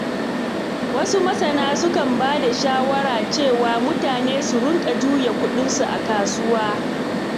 Wasu masana sukan ba da shawara cewa mutane su riƙa juya kuɗinsu a kasuwa.